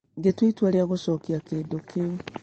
Ngĩtua itua rĩa gũcokia kĩndũ kĩu